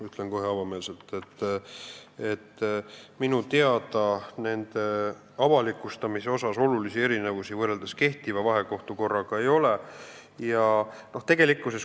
Ütlen kohe avameelselt, et minu teada avalikustamise osas olulisi erinevusi võrreldes kehtiva vahekohtumenetluse korraga plaanis ei ole.